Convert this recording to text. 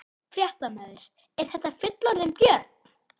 Fréttamaður: Er þetta fullorðinn björn?